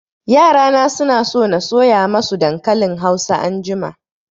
Yara na suna so na soya masu dankalin hausa anjima